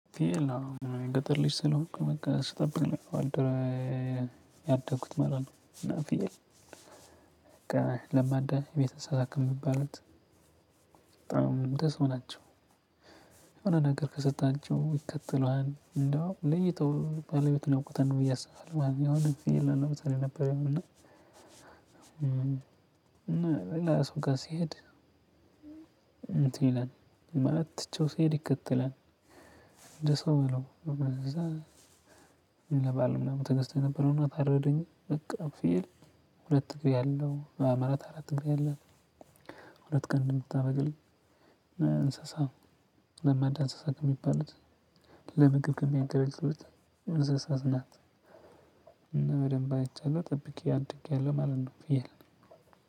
ፊል ነው የገጠር ልጅ ስለሆንኩ በቃ ስጠብቅ ነው። ያደኩት ማለት ነው። በቃ ለማዳ የቤተሰብ አንሰሳክ ከሚባሉት በጣም እንደሰው ናቸው። የሆነ ነገር ከሰጣቸው ይከተሉሀል እንዲሁም ለይተው ባለቤት ያውቁታል ብዬ አስባለሁ፤ ወይ አሁን ደግሞ ለምሳሌ ነበር የምልህ እና ሌላ ሰው ጋር ሲሄድ እንትን ይላል ማለት ትቼው ሲሄድ ይከተላል፤ እንደ ሰው ነው እንደዛ ይረባል ምናምን ትግስት የነበረውና ታረደ እንጂ በቃ ፍየል ሁለት ፍየል አለው ማለት አራት እግር ያለው ሁለት ቀንድ የምታበቅል እንስሳ ነው። ለመዳ እንስሳ ከሚባል ለምግብ ከሚያገለግሉት እንስሳ ናት። በደንብ አይቻለሁ። ጠብቄ አድጌሀለው ማለት ነው ፍየል